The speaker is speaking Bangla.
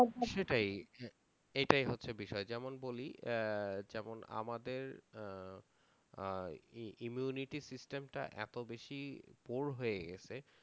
সেটাই এইটাই হচ্ছে বিষয়, যেমন বলি আহ যেমন আমাদের আহ আহ ই~ immunity system টা এতো বেশি poor হয়ে গেছে